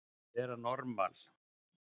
Að vera normal